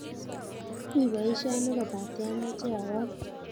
Ui poisyoni kopate amache awong'